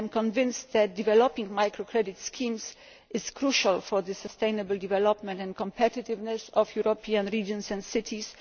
this. I am convinced that developing micro credit schemes is crucial for the sustainable development and competitiveness of European regions and cities.